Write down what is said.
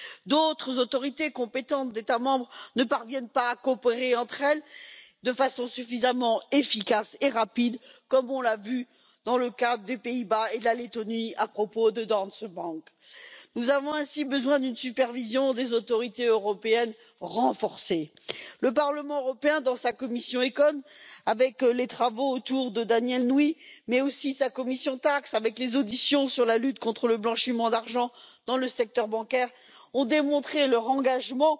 D'autres autorités compétentes d'États membres ne parviennent pas à coopérer entre elles de façon suffisamment efficace et rapide, comme on l'a vu dans le cas des Pays Bas et de la Lettonie à propos de Danske Bank. Nous avons ainsi besoin d'une supervision des autorités européennes renforcée. Le Parlement européen, dans sa commission ECON, avec les travaux autour de Danièle Nouy, mais aussi dans sa commission TAXE, avec les auditions sur la lutte contre le blanchiment d'argent dans le secteur bancaire, a démontré son engagement